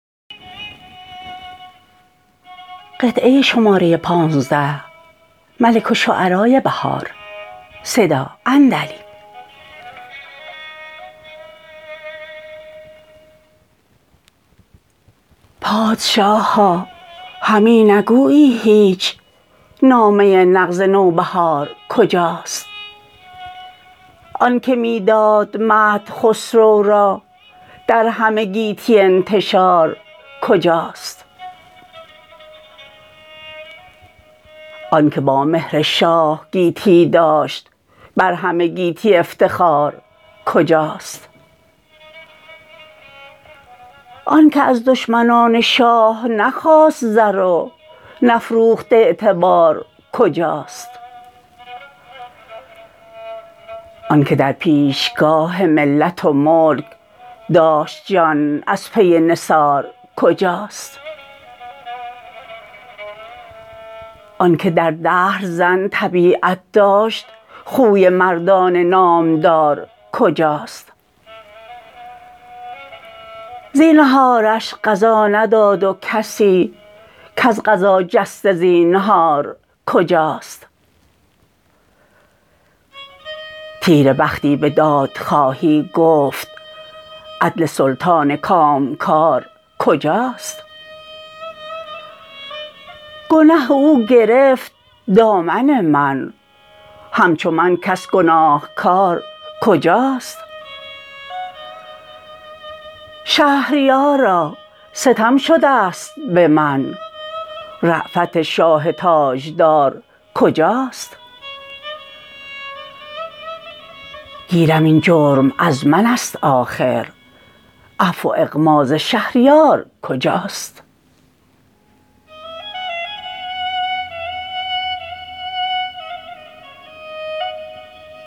پادشاها همی نگویی هیچ نامه نغز نوبهار کجاست آن که می داد مدح خسرو را در همه گیتی انتشار کجاست آن که با مهر شاه گیتی داشت بر همه گیتی افتخار کجاست آن که از دشمنان شاه نخواست زر و نفروخت اعتبارکجاست آن که درپیشگاه ملت و ملک داشت جان از پی نثارکجاست آن که در دهر زن طبیعت داشت خوی مردان نامدار کجاست زینهارش قضا نداد و کسی کز قضا جسته زبنهارکجاست تیره بختی به دادخواهی گفت عدل سلطان کامکارکجاست گنه او گرفت دامن من همچو من کس گناهکار کجاست شهریارا ستم شدست به من رأفت شاه تاجدار کجاست گیرم این جرم از منست آخر عفو و اغماض شهریار کجاست